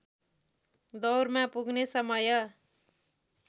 दौरमा पुग्ने समय